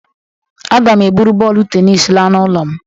Aga'm eburu bọọlụ tenis la n'ụlọ'm